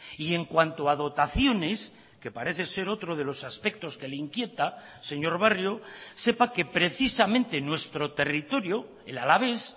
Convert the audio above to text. y en cuanto a dotaciones que parece ser otro de los aspectos que le inquieta señor barrio sepa que precisamente nuestro territorio el alavés